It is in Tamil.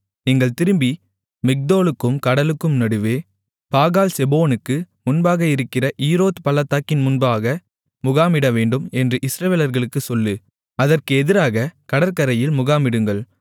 நீங்கள் திரும்பி மிக்தோலுக்கும் கடலுக்கும் நடுவே பாகால்செபோனுக்கு முன்பாக இருக்கிற ஈரோத் பள்ளத்தாக்கின் முன்பாக முகாமிடவேண்டும் என்று இஸ்ரவேலர்களுக்குச் சொல்லு அதற்கு எதிராக கடற்கரையில் முகாமிடுங்கள்